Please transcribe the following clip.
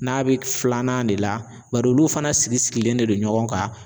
N'a bɛ filanan de la bari olu fana sigisigilen de don ɲɔgɔn kan